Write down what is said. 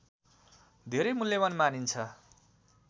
धेरै मूल्यवान् मानिन्छ